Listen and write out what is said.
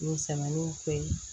Musaliw fɛ yen